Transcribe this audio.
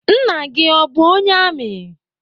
Nna gị o bụ onye amị?